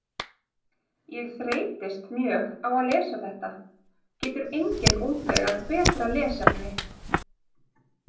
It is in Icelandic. Ég þreytist mjög á að lesa þetta, getur enginn útvegað betra lesefni?